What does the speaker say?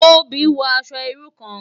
Tobi n wò aṣò irú kán